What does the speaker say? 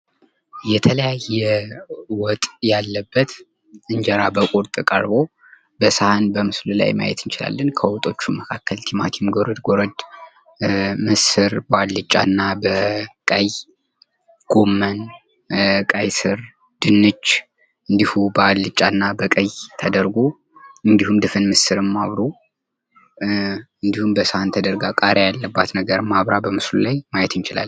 የተለያ የወጥ ያለበት እንጀራ በቁርጥ ቁርጥ ቀርቦ በስህን በምስሉ ላይ ማየት እንችላለን :: ከወጦቹ መካከል በቲማቲም ጎረድ ጎረድ ፣ ምስር በአልጫና ቀይ፣ ጎመን ፣ ቀይስር ፣ ድንች እንዲሁ በአልጫና በቀይ ተድርጎ እንዲሁም ድፍን ምስርም አብሮ እንዲሁም በሰሀን ተደርጋ ቃሪያ ያለባት ነገርም አብራ በምስሉ ላይ ማየት እንችላለን።